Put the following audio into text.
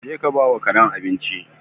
Je ka ba wa karen abinci!